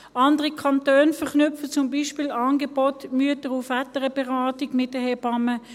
Andere Kantone verknüpfen zum Beispiele Angebote der MVB mit den Hebammen.